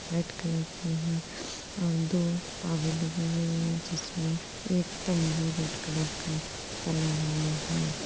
White colour की हैं और दो पावे लगे हुए हैं जिसमें एक तंबू रेड कलर का तना हुआ है।